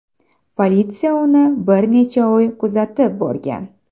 Politsiya uni bir necha oy kuzatib borgan.